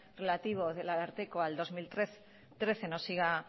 relativo del ararteko al dos mil trece no siga